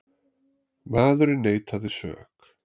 Maðurinn neitaði sök